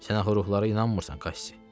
Sən axı ruhlara inanmırsan, Kassi.